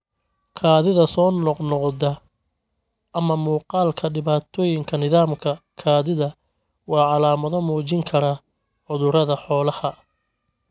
Kaadida soo noqnoqda ama muuqaalka dhibaatooyinka nidaamka kaadida waa calaamado muujin kara cudurrada xoolaha.